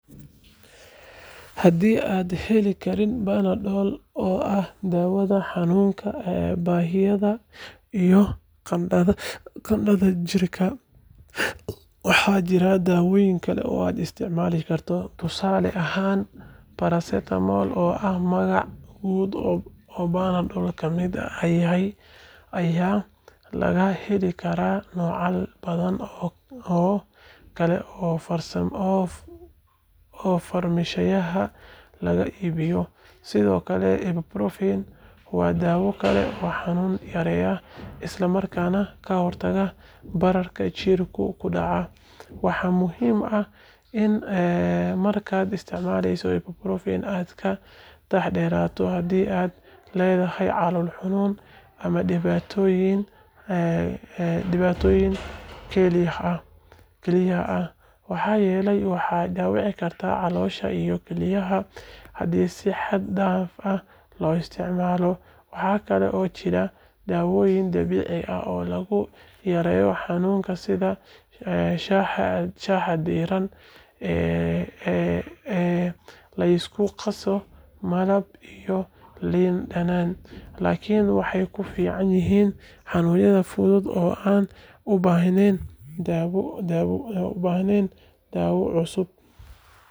Haddii aanad heli karin Panadol oo ah daawada xanuun baabi’iyaha iyo qandhada dhigta, waxaa jira daawooyin kale oo aad isticmaali karto. Tusaale ahaan, Paracetamol oo ah magac guud oo Panadol ka mid yahay ayaa laga heli karaa noocyo badan oo kale oo farmashiyadaha laga iibiyo. Sidoo kale, Ibuprofen waa daawo kale oo xanuun yareeya isla markaana ka hortagta bararka jirka ku dhaca. Waxaa muhiim ah in markaad isticmaalayso Ibuprofen aad ka taxaddarto haddii aad leedahay calool xanuun ama dhibaatooyin kelyaha ah, maxaa yeelay waxay dhaawici kartaa caloosha iyo kelyaha haddii si xad dhaaf ah loo isticmaalo. Waxa kale oo jira daawooyin dabiici ah oo lagu yareeyo xanuunka sida shaaha diirran ee la isku qaso malab iyo liin dhanaan, laakiin waxay ku fiican yihiin xanuunada fudud oo aan u baahnayn daawo xoog badan. Markasta waa muhiim inaad raadsato talo caafimaad kahor intaadan isticmaalin daawooyin cusub.